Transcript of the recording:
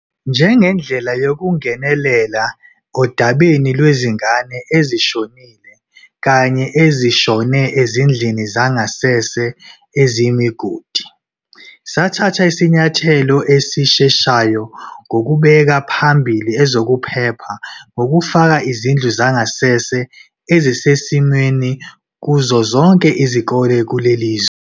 Njengendlela yokungenelela odabeni lwezingane ezishonile kanye ezishone ezindlini zangasese eziyimigodi, sathatha isinyathelo esisheshayo ngokubeka phambili EZOKUPHEPHA ngokufaka izindlu zangasese ezisesimweni kuzo zonke izikole kulelizwe.